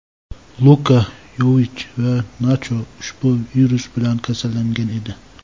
Luka Yovich va Nacho ushbu virus bilan kasallangan edi.